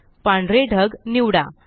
पांढरे ढग निवडा